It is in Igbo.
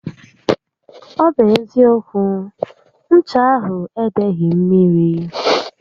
Ọ bụ eziókwu, ncha ahụ edeghi mmiri